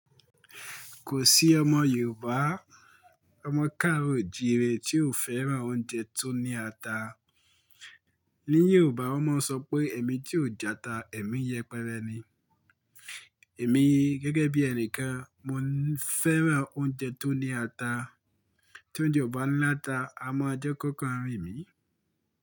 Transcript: Kò sí ọmọ Yorùbá, ọmọ káàro oo'jire tí ò fẹ́ràn oúnjẹ tó ní ata. Ni Yorùbá wọ́n máa ń sọ pé "èmi tí ò jẹ ata, èmi yẹpẹrẹ ni". Èmi gẹ́gẹ́ bí ẹni kan, mo fẹ́ràn oúnjẹ tó ní ata. Tí oúnjẹ ò bá ńláta, a máa jẹ kóko rìn mí.